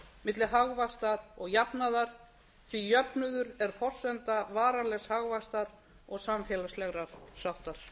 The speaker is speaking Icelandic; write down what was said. milli hagvaxtar og jafnaðar því jöfnuður er forsenda varanlegs hagvaxtar og samfélagslegrar sáttar